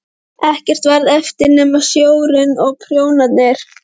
Ekkert varð eftir nema sjórinn og prjónarnir.